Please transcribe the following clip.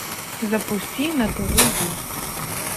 запусти на тв ю